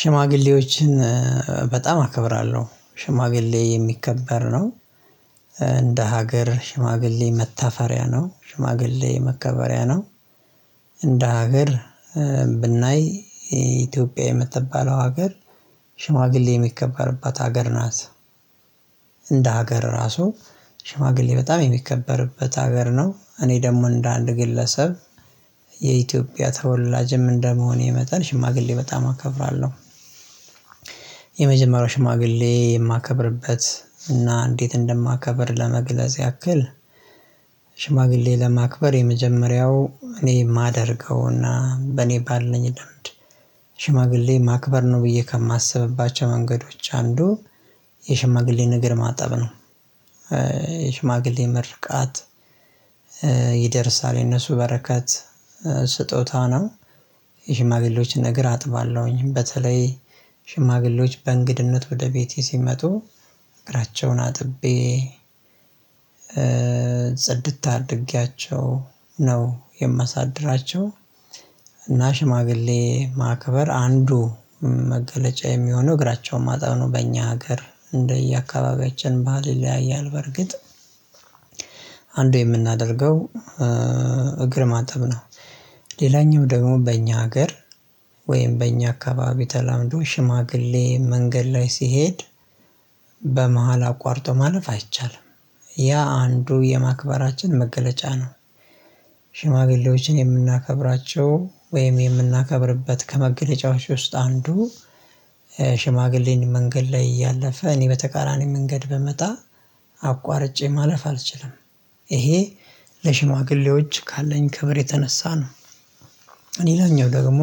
ሽማግሌዎችን በጣም አከብራለሁ ሽማግሌ የሚከበር ነው። እንደ ሀገር ሽማግሌ መታፈሪያ ነው ሽማግሌ መከበሪያ ነው። እንደ ሀገር ብናይ ኢትዮጵያ የምትባለው ሀገር ሽማግሌ የሚከበርባት ሀገር ናት። እንደ ሀገር ራሱ ሽማግሌ በጣም የሚከበርበት ሀገር ነው። እኔ ደግሞ እንደ አንድ ግለሰብ የኢትዮጵያ ተወላጅም እንደመሆኔ መጠን ሽማግሌ በጣም አከብራለሁ። የመጀመሪያው ሽማግሌ የማከብርበት እና እንዴት እንደማከብር ለመግለጽ ያክል። ሽማግሌ ለማክበር የመጀመሪያው እኔ የማደርገውና በኔ ባለኝ ልምድ ሽማግሌ ማክበር ነው ብዬ ከማስብባቸው መንገዶች አንዱ የሽማግሌን እግር ማጠብ ነው። የሽማግሌ መርቃት ይደርሳል የነሱ በረከት ስጦታ ነው። የሽማግሌዎችን እግር አጥባለሁኝ በተለይ ሽማግሌዎች በእንግድነት ወደ ቤቴ ሲመጡ እግራቸውን አጥቤ ጸድት አድርገያቸው ነው የማሳድራቸው። እና ሽማግሌ ማክበር አንዱ መገለጫ የሚሆነው እግራቸው ማጠብ በእኛ ሀገር እንደየአካባቢያችን ባህል ይለያያል በርግጥ። አንዱ የምናደርገው እግር ማጠብ ነው። ሌላኛው ደግሞ በእኛ ሀገር ወይም በእኛ አካባቢ ተላምዶ ሽማግሌ መንገድ ላይ ሲሄድ በመሃል አቋርጦ ማለፍ አይቻልም። ያ አንዱ የማክበራችን መገለጫ ነው። ሽማግሌዎችን የምናከብራቸው ወይም የምናከብርበት ከመገለጫዎች ውስጥ አንዱ። ሽማግሌን መንገድ ላይ እያለፈ እኔ በተቃራኒ መንገድ ብመጣ አቋርጬ ማለፍ አልችልም። ይሄ ለሽማግሌዎች ካለኝ ከብር የተነሳ ነው። ሌላኘው ደግሞ